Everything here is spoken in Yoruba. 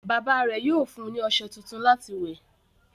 Bàbá rẹ̀ yóò fún ní ọṣẹ tuntun láti wẹ̀.